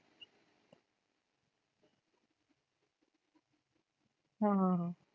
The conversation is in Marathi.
हं हं हं